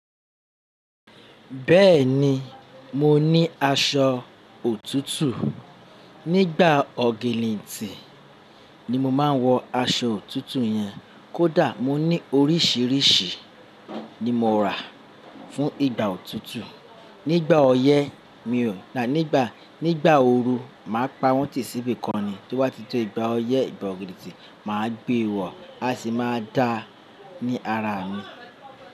Bẹ́ẹ̀ni, mo ní aṣọ òtútù. Nígbà ọ̀ginnitin nì mo máa ń wọ aṣọ òtútù yẹn. Kódà mo ní oríṣiríṣi ni mo rà fún ìgbà òtútù. Nígbà ọyẹ́ mi ò, nígbà, nígbà ooru máa pa wọ́n tìsíbi kan ni. To bá ti tó ìgbà ọyẹ́, ìgbà ọ̀ginnitin máa gbé e wọ, a sì máa dá a ní ara mi.